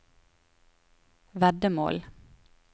veddemål